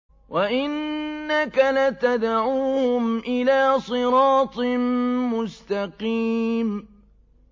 وَإِنَّكَ لَتَدْعُوهُمْ إِلَىٰ صِرَاطٍ مُّسْتَقِيمٍ